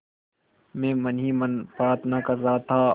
मैं मन ही मन प्रार्थना कर रहा था